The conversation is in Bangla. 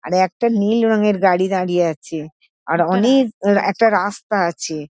আর একটা নীল রঙের গাড়ি দাঁড়িয়ে আছে। আর অনেক আঁ আর একটা রাস্তা আছে।